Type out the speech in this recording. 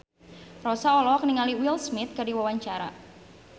Rossa olohok ningali Will Smith keur diwawancara